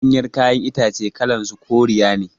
Ɗanyan kayan itace kalan su koriya ne